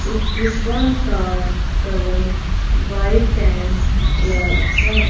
उस फुटबॉल का colour white and black है।